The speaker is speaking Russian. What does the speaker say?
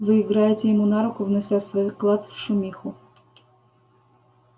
вы играете ему на руку внося свой вклад в шумиху